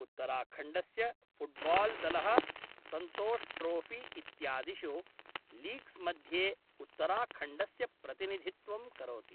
उत्तराखण्डस्य फ़ुट्बाल्दलः सन्तोष्ट्रोफ़ी इत्यादिषु लीग्स्मध्ये उत्तराखण्डस्य प्रतिनिधित्वं करोति।